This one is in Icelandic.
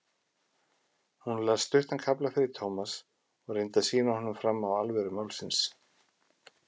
Hún las stuttan kafla fyrir Thomas og reyndi að sýna honum fram á alvöru málsins.